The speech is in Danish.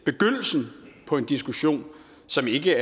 begyndelsen på en diskussion som ikke